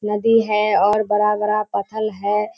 नदी है और बड़ा-बड़ा पत्थर है।